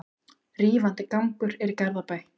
Rífandi gangur er í Garðabæ.